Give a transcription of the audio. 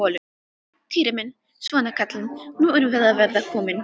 Týri minn, svona kallinn, nú erum við að verða komin.